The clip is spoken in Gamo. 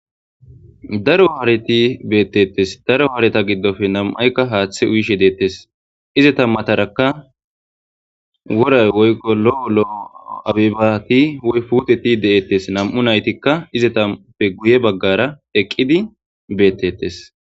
Daro hareti beettettes. Daro haareta giddofe nam7ayka haaththe uyishe deettes. izata matarakka woray woykqo lo'o lo'o abebati woy puuteti deettes. Nam7u naytikka izetappe guye baggaara eqqidi beettettes.